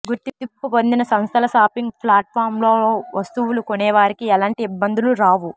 గుర్తింపు పొందిన సంస్థల షాపింగ్ ప్లాట్ఫాంలలో వస్తువులు కొనేవారికి ఎలాంటి ఇబ్బందులూ రావు